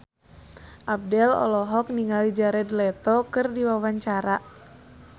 Abdel olohok ningali Jared Leto keur diwawancara